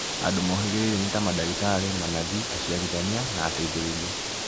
Andũ mohĩgĩrĩire nĩ ta madagĩtarĩ, manathi, aciarithania, na ateithĩrĩria